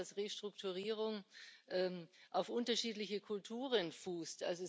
Hinzu kommt, dass Restrukturierung auf unterschiedlichen Kulturen fußt.